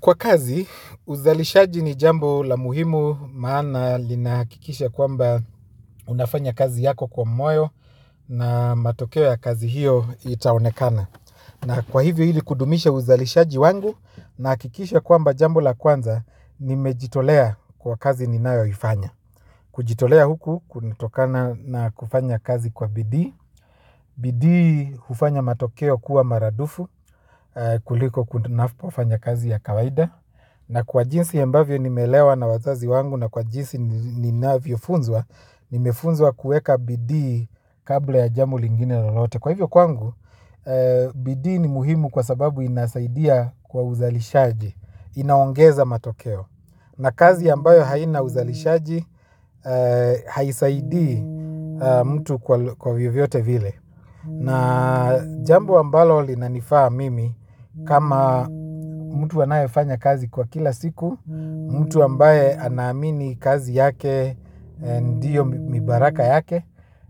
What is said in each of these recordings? Kwa kazi, uzalishaji ni jambo la muhimu maana linahakikisha kwamba unafanya kazi yako kwa moyo na matokeo ya kazi hiyo itaonekana. Na kwa hivyo ili kudumisha uzalishaji wangu nahakikisha kwamba jambo la kwanza nimejitolea kwa kazi ninayoifanya. Kujitolea huku kunatokana na kufanya kazi kwa bidii. Bidii hufanya matokeo kuwa maradufu kuliko ninapofanya kazi ya kawaida. Na kwa jinsi ambavyo nimelewa na wazazi wangu na kwa jinsi ninavyofunzwa nimefunzwa kueka bidii kabla ya jamo lingine lolote. Kwa hivyo kwangu bidii ni muhimu kwa sababu inasaidia kwa uzalishaji. Inaongeza matokeo. Na kazi ambayo haina uzalishaji haisaidii mtu kwa vyovyote vile. Na jambo ambalo linanifaa mimi kama mtu anayefanya kazi kwa kila siku, mtu ambaye anaamini kazi yake, ndiyo ni baraka yake,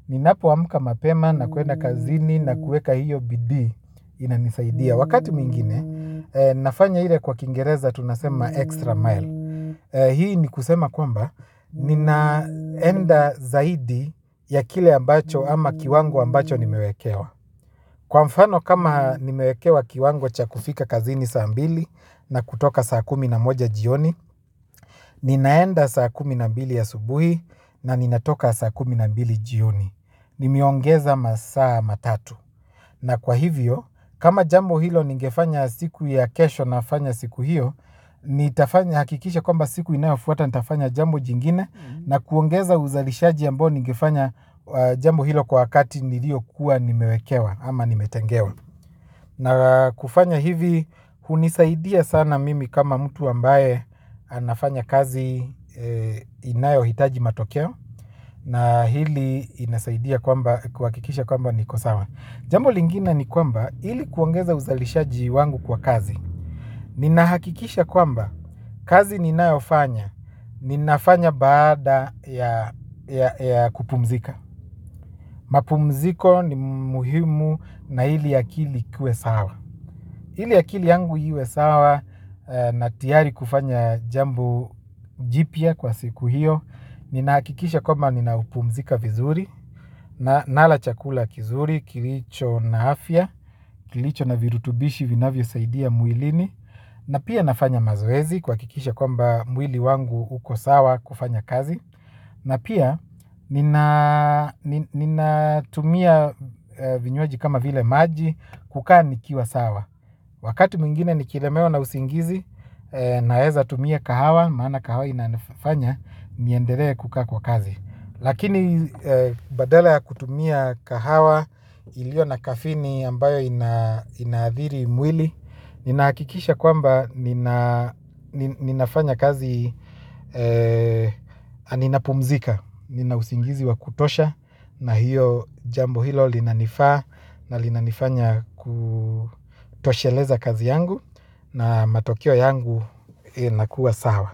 ninapoamka mapema na kuenda kazini na kuweka hiyo bidii inanisaidia. Wakati mwingine nafanya ile kwa kingereza tunasema extra mile. Hii ni kusema kwamba ninaenda zaidi ya kile ambacho ama kiwango ambacho nimewekewa. Kwa mfano kama nimewekewa kiwango cha kufika kazini saa mbili na kutoka saa kumi na moja jioni. Ninaenda saa kumi na mbili asubuhi na ninatoka saa kumi na mbili jioni. Nimeongeza masaa matatu. Na kwa hivyo, kama jambo hilo ningefanya siku ya kesho nafanya siku hiyo nitafanya, hakikisha kwamba siku inayofuata nitafanya jambo jingine na kuongeza uzalishaji ambao ningefanya jambo hilo kwa wakati niliokuwa nimewekewa ama nimetengewa. Na kufanya hivi, hunisaidia sana mimi kama mtu ambaye anafanya kazi inayohitaji matokeo na hili inasaidia kwamba kuhakikisha kwamba niko sawa. Jambo lingine ni kwamba ili kuongeza uzalishaji wangu kwa kazi. Ninahakikisha kwamba kazi ninayofanya, ninafanya baada ya kupumzika. Mapumziko ni muhimu na ili akili ikuwe sawa. Ili akili yangu iwe sawa na tiari kufanya jambo jipya kwa siku hiyo. Ninahakikisha kwamba ninaupumzika vizuri, nala chakula kizuri, kilicho na afya, kilicho na virutubishi vinavyosaidia mwilini. Na pia nafanya mazoezi kuhakikisha kwamba mwili wangu uko sawa kufanya kazi. Na pia ninatumia vinywaji kama vile maji kukaa nikiwa sawa. Wakati mwingine nikilemewa na usingizi naeza tumia kahawa. Maana kahawa inanifanya niendelee kukaa kwa kazi. Lakini badala ya kutumia kahawa ilio na kafini ambayo inaadhiri mwili ninahakikisha kwamba ninafanya kazi ninapumzika. Nina usingizi wa kutosha na hiyo jambo hilo linanifa na linanifanya kutosheleza kazi yangu na matokeo yangu inakuwa sawa.